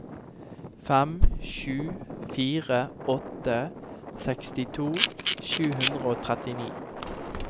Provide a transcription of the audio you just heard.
fem sju fire åtte sekstito sju hundre og trettini